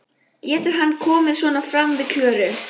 Getur hann komið svona fram við Klöru?